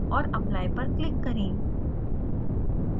और apply पर click करें